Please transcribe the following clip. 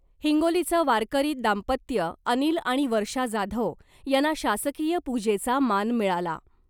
हिंगोलीचं वारकरी दाम्पत्य अनिल आणि वर्षा जाधव यांना शासकीय पूजेचा मान मिळाला .